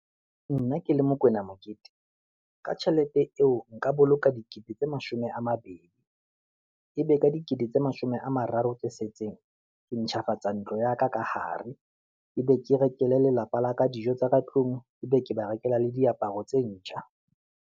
Nna ke le Mokwena Mokete, ka tjhelete eo nka boloka dikete tse mashome a mabedi, ebe ka dikete tse mashome a mararo tse setseng, ke ntjhafatsa ntlo ya ka ka hare, ebe ke rekele lelapa la ka dijo tsa ka tlung, ebe ke ba rekelwa le diaparo tse ntjha.